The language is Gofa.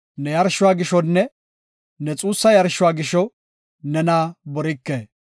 Ne yarshuwa gishonne ne xuussa yarshuwa gisho, nena borike.